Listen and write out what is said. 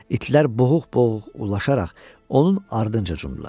İtlər boğuq-boğuq ulaşaraq onun ardınca cumdular.